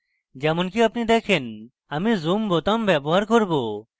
যেমনকি আপনি দেখেন আমি zoom বোতাম ব্যবহার করব